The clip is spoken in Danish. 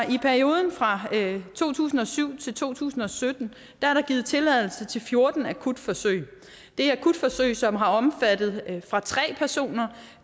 i perioden fra to tusind og syv til to tusind og sytten er der givet tilladelse til fjorten akutforsøg det er akutforsøg som har omfattet fra tre personer